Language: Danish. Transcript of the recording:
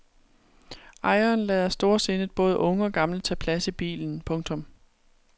Ejeren lader storsindet både unge og gamle tage plads i bilen. punktum